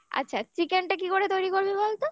আচ্ছা chicken টা কি করে তৈরি করবি বল তো